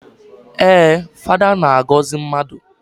Ee, Fada na-agọzị mmadụ.